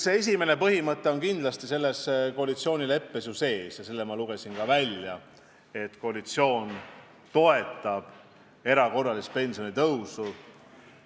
See esimene põhimõte on kindlasti koalitsioonileppes sees ja seda ma ütlesin ka välja, et koalitsioon toetab erakorralist pensionitõusu.